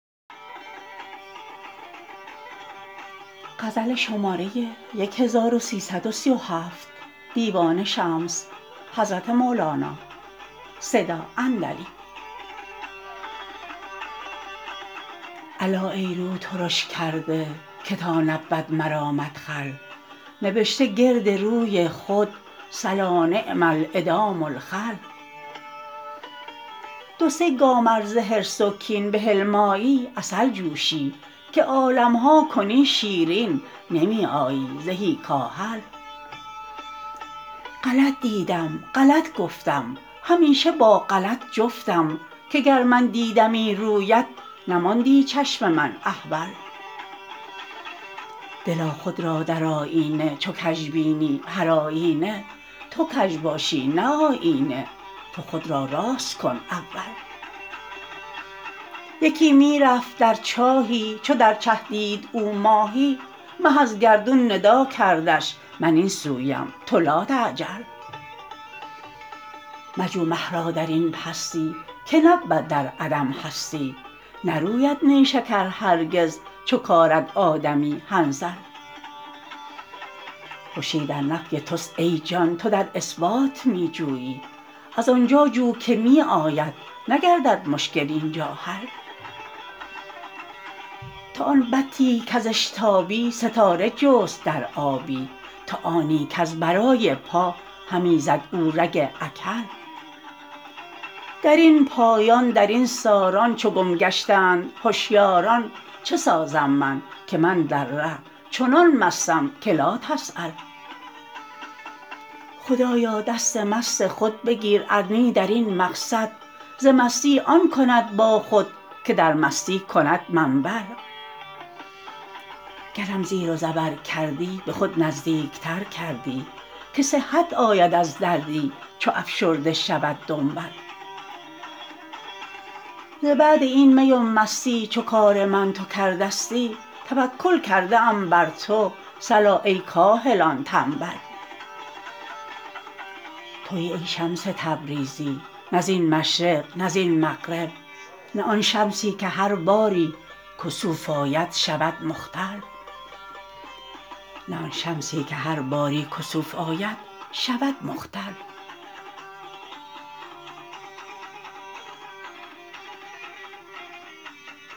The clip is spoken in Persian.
الا ای رو ترش کرده که تا نبود مرا مدخل نبشته گرد روی خود صلا نعم الادام الخل دو سه گام ار ز حرص و کین به حلم آیی عسل جوشی که عالم ها کنی شیرین نمی آیی زهی کاهل غلط دیدم غلط گفتم همیشه با غلط جفتم که گر من دیدمی رویت نماندی چشم من احول دلا خود را در آیینه چو کژ بینی هرآیینه تو کژ باشی نه آیینه تو خود را راست کن اول یکی می رفت در چاهی چو در چه دید او ماهی مه از گردون ندا کردش من این سویم تو لاتعجل مجو مه را در این پستی که نبود در عدم هستی نروید نیشکر هرگز چو کارد آدمی حنظل خوشی در نفی تست ای جان تو در اثبات می جویی از آن جا جو که می آید نگردد مشکل این جا حل تو آن بطی کز اشتابی ستاره جست در آبی تو آنی کز برای پا همی زد او رگ اکحل در این پایان در این ساران چو گم گشتند هشیاران چه سازم من که من در ره چنان مستم که لاتسأل خدایا دست مست خود بگیر ار نی در این مقصد ز مستی آن کند با خود که در مستی کند منبل گرم زیر و زبر کردی به خود نزدیکتر کردی که صحت آید از دردی چو افشرده شود دنبل ز بعد این می و مستی چو کار من تو کرده ستی توکل کرده ام بر تو صلا ای کاهلان تنبل توی ای شمس تبریزی نه زین مشرق نه زین مغرب نه آن شمسی که هر باری کسوف آید شود مختل